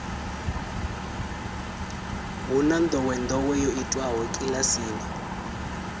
hu na ndowendowe yo itiwaho kilasini